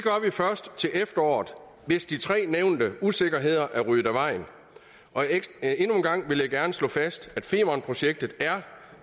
først til efteråret hvis de tre nævnte usikkerheder er ryddet af vejen endnu en gang vil jeg gerne slå fast at femernprojektet er